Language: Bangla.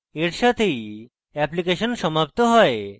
এর সাথেই অ্যাপ্লিকেশন সমাপ্ত হয়